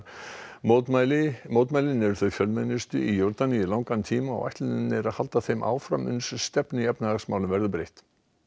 mótmælin mótmælin eru þau fjölmennustu í Jórdaníu í langan tíma og ætlunin er halda þeim áfram uns stefnu í efnahagsmálum verður breytt